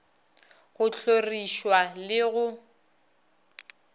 go hloriš wa le go